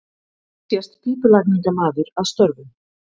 Hér sést pípulagningamaður að störfum.